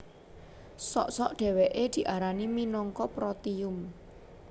Sok sok dhèwèké diarani minangka protium